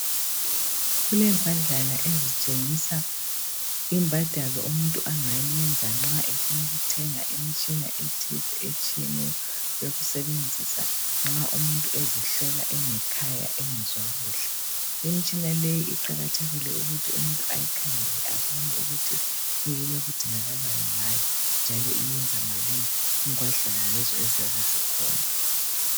Kulengwadlana ezitshengisa imbadalo umuntu angayiyenza nxa efuna ukuthenga imtshina ethize etshiyeneyo yokusebenzisa nxa umuntu ezihlola engekhaya engezwa kuhle. Imtshina leyi iqakathekile ukuthi umuntu ayikhangele abone ukuthi kuyini okudingakalayo ngayo njalo iyenza malini kungwadlana lezo eziyabe zikhona.